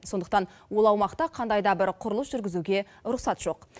сондықтан ол аумақта қандай да бір құрылыс жүргізуге рұқсат жоқ